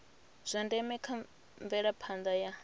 zwa ndeme kha mvelaphanda ya